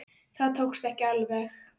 Það tókst ekki alveg.